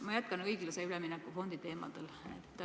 Ma jätkan õiglase ülemineku fondi teemal.